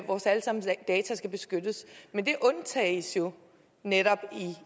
vores alle sammens data skal beskyttes men det undtages jo netop